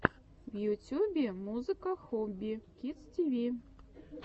в ютюбе музыка хобби кидс ти ви